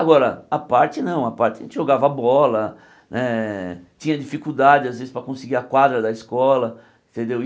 Agora, a parte não, a parte a gente jogava bola né, tinha dificuldade às vezes para conseguir a quadra da escola, entendeu?